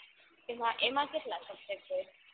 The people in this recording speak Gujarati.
એમાં એમાં કેટલા subject હોય